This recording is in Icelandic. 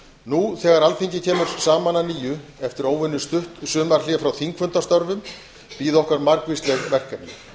nú þegar alþingi kemur saman að nýju eftir óvenjustutt sumarhlé frá þingfundastörfum bíða okkar margvísleg verkefni